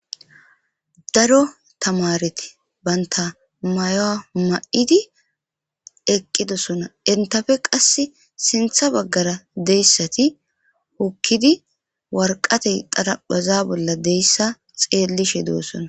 Daro tamareti banta mayoa ma'idi eqqidosona entafe qass sintha baggara deyssati hokkidi warqatey daraphaza bolla deyssa xeellishe du'osona